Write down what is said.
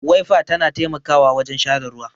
Waifa ta na taimakawa wajen share ruwa